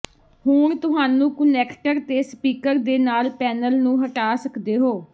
ਹੁਣ ਤੁਹਾਨੂੰ ਕੁਨੈਕਟਰ ਤੇ ਸਪੀਕਰ ਦੇ ਨਾਲ ਪੈਨਲ ਨੂੰ ਹਟਾ ਸਕਦੇ ਹੋ